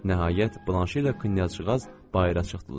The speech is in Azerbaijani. Nəhayət, Blanşe ilə knyazcığaz bayıra çıxdılar.